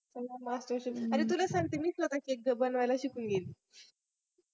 अरे तुला सांगते मी स्वतः cake बनवायला शिकून गेली